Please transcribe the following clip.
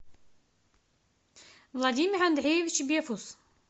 владимир андреевич бефус